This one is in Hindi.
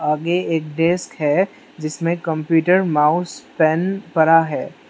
आगे एक डेस्क है जिसमें कंप्यूटर माउस पेन पड़ा है।